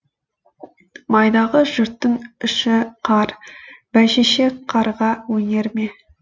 майдағы жұрттың іші қар бәйшешек қарға өнер ме